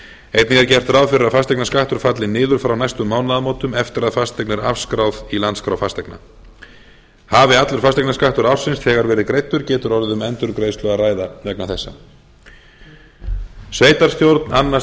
einnig er gert ráð fyrir að fasteignaskattur falli niður frá næstu mánaðamótum eftir að fasteign er afskráð í landskrá fasteigna hafi allur fasteginaskarttur ársins þegar verið greiddur getur orðið um endurgreiðslu að ræða vegna þessa sveitarstjórn annast